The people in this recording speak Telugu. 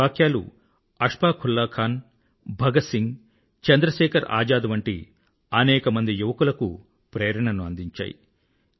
ఈ వాక్యాలు అష్ఫాక్ ఉల్లా ఖాన్ భగత్ సింగ్ చంద్రశేఖర్ ఆజాద్ వంటి అనేక యువకులకు ప్రేరణను అందించాయి